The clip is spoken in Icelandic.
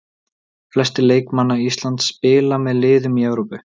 Flestir leikmanna Íslands spila með liðum í Evrópu.